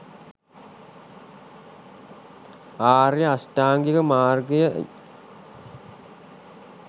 ආර්ය අෂ්ටාංගික මාර්ගය යි.